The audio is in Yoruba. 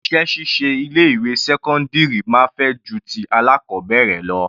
Iṣẹ́ ṣíṣe ilé ìwé sẹ́cọ́ndírì máa fẹjú ju ti alákọbẹ̀rẹ̀ lọ.